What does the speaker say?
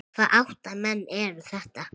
Hvaða átta menn eru þetta?